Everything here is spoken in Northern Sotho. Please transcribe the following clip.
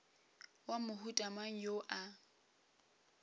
wa mohuta mang yo a